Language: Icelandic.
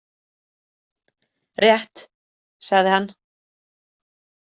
Rétt, sagði hann.